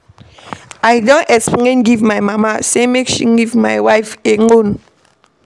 I don explain give my mama sey make she leave my wife alone.